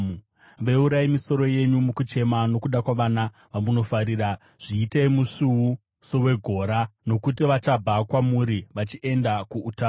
Veurai misoro yenyu mukuchema nokuda kwavana vamunofarira; zviitei musvuu sowegora, nokuti vachabva kwamuri vachienda kuutapwa.